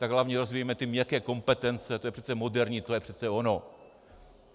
Tak hlavně rozvíjejme ty měkké kompetence, to je přece moderní, to je přece ono.